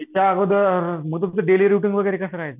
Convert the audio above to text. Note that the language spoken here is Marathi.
यांच्याअगोदर म तुमचं डेली रुटीन वगैरे कसं राहायचं?